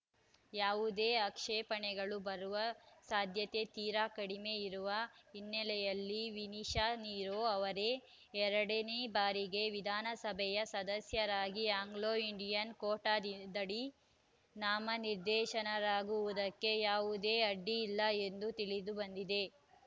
ಯಾವುದೇ ಆಕ್ಷೇಪಣೆಗಳು ಬರುವ ಸಾಧ್ಯತೆ ತೀರಾ ಕಡಿಮೆ ಇರುವ ಹಿನ್ನೆಲೆಯಲ್ಲಿ ವಿನಿಶಾ ನಿರೋ ಅವರೇ ಎರಡನೇ ಬಾರಿಗೆ ವಿಧಾನಸಭೆಯ ಸದಸ್ಯರಾಗಿ ಆಂಗ್ಲೋಇಂಡಿಯನ್‌ ಕೋಟಾದಡಿ ನಾಮನಿರ್ದೇಶನರಾಗುವುದಕ್ಕೆ ಯಾವುದೇ ಅಡ್ಡಿ ಇಲ್ಲ ಎಂದು ತಿಳಿದು ಬಂದಿದೆ